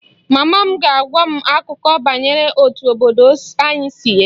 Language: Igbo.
/Mama m ga-agwa m akụkọ banyere otú obodo anyị si eto